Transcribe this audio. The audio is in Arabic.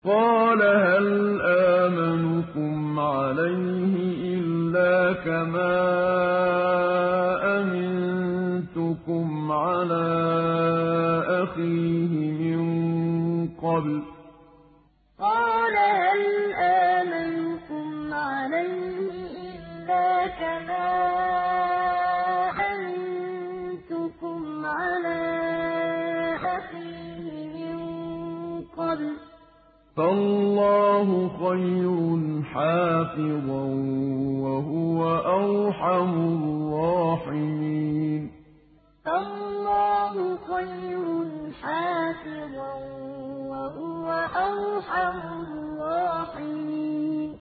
قَالَ هَلْ آمَنُكُمْ عَلَيْهِ إِلَّا كَمَا أَمِنتُكُمْ عَلَىٰ أَخِيهِ مِن قَبْلُ ۖ فَاللَّهُ خَيْرٌ حَافِظًا ۖ وَهُوَ أَرْحَمُ الرَّاحِمِينَ قَالَ هَلْ آمَنُكُمْ عَلَيْهِ إِلَّا كَمَا أَمِنتُكُمْ عَلَىٰ أَخِيهِ مِن قَبْلُ ۖ فَاللَّهُ خَيْرٌ حَافِظًا ۖ وَهُوَ أَرْحَمُ الرَّاحِمِينَ